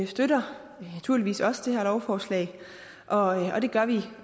støtter naturligvis også det her lovforslag og det gør vi